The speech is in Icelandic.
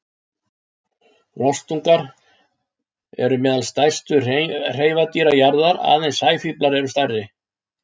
Rostungar eru meðal stærstu hreifadýra jarðar, aðeins sæfílar eru stærri.